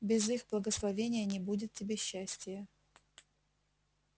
без их благословения не будет тебе счастия